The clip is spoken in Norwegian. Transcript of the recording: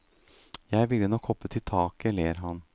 Jeg ville nok hoppet i taket, ler han.